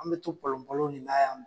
An bɛ to palonpalon ni n'a yan.